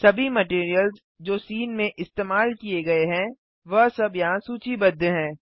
सभी मटैरियल्स जो सीन में इस्तेमाल किये गये हैं वह सब यहाँ सूचीबद्ध हैं